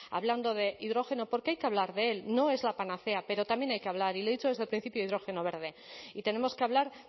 hablando de hidrógeno porque hay que hablar de él no es la panacea pero también hay que hablar y le he dicho desde el principio hidrógeno verde y tenemos que hablar